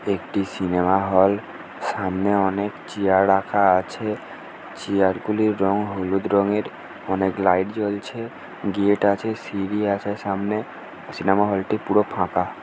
একটি cinema hall সামনে অনেক চেয়ার রাখা আছে চেয়ার গুলির রং হলুদ রঙের। অনেক লাইট জ্বলছে। গেট আছে। সিড়ি আছে সামনে। সিনেমা হলটি পুরো ফাঁকা।